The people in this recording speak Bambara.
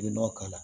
I bɛ nɔgɔ k'a la